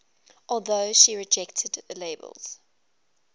although she rejected the labels